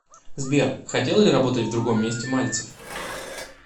сбер хотел ли работать в другом месте мальцев